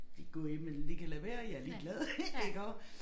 De kan gå i dem eller de kan lade være jeg ligeglad iggå